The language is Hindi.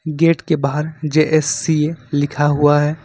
गेट के बाहर जे_एस_सी_ए लिखा हुआ है।